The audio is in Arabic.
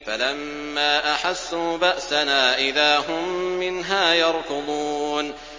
فَلَمَّا أَحَسُّوا بَأْسَنَا إِذَا هُم مِّنْهَا يَرْكُضُونَ